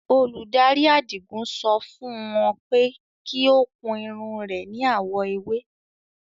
Olúdárí Àdígún sọ fún ọ̀n pẹ̀ kí o kun irun re ní awọ̀ èwè.